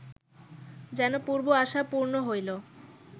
যেন পূর্ব আশা পূর্ণ হইল